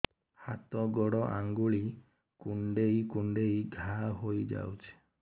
ହାତ ଗୋଡ଼ ଆଂଗୁଳି କୁଂଡେଇ କୁଂଡେଇ ଘାଆ ହୋଇଯାଉଛି